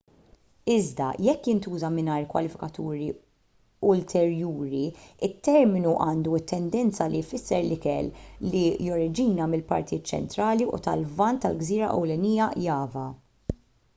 iżda jekk jintuża mingħajr kwalifikaturi ulterjuri it-terminu għandu t-tendenza li jfisser l-ikel li joriġina mill-partijiet ċentrali u tal-lvant tal-gżira ewlenija java